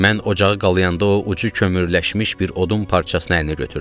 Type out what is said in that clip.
Mən ocağı qalayanda o ucu kömürləşmiş bir odun parçasına əlini götürdü.